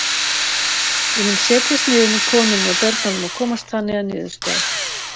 Ég mun setjast niður með konunni og börnunum og komast þannig að niðurstöðu.